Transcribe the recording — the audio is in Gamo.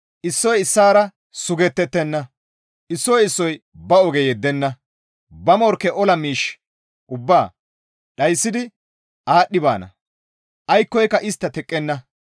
Issoy issaara sugetettenna; issoy issoy ba oge yeddenna; ba morkke ola miish ubbaa dhayssidi aadhdhi baana; aykkoyka istta teqqenna.